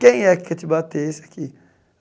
Quem é que quer te bater esse aqui?